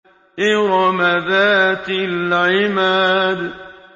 إِرَمَ ذَاتِ الْعِمَادِ